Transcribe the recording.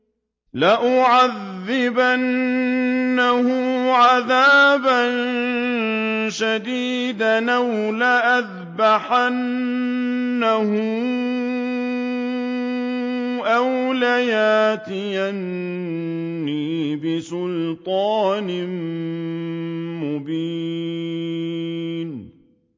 لَأُعَذِّبَنَّهُ عَذَابًا شَدِيدًا أَوْ لَأَذْبَحَنَّهُ أَوْ لَيَأْتِيَنِّي بِسُلْطَانٍ مُّبِينٍ